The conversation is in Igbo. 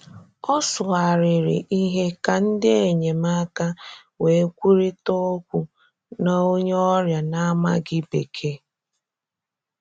Ọ sụgharịrị̀ ihe ka ndị enyemáka wee kwurịta okwu na onye ọrịa na-amaghị Bekee.